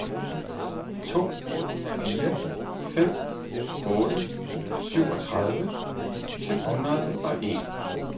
to fire fem otte syvogtredive syv hundrede og en